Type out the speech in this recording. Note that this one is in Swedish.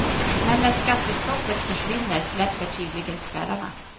Men när skattestoppet försvinner släpper tydligen spärrarna.